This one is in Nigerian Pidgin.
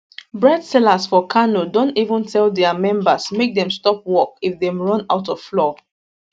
bread sellers for kano don even tell dia members make dem stop work if dem run out of flour